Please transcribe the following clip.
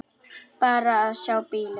Bara að sjá bílinn.